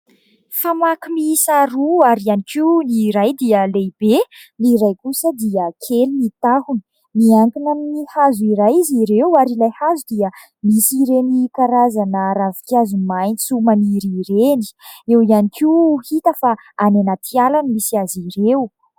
Famaky miisa roa ary iany koa ny iray dia lehibe ny iray kosa dia kely ny tahony miankina amin'ny hazo iray izy ireo ary ilay hazo dia misy ireny karazana ravi-kazo maitso maniry ireny, eo iany koa hita fa any anaty ala ny misy azy ireo.